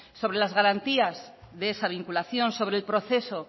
sobre las garantías de esa vinculación sobre el proceso